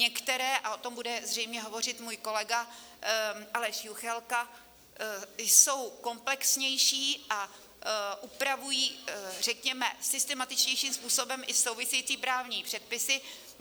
Některé, a o tom bude zřejmě hovořit můj kolega Aleš Juchelka, jsou komplexnější a upravují řekněme systematičtějším způsobem i související právní předpisy.